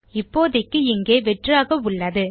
இப்போதைக்கு இங்கே வெற்றாக உள்ளது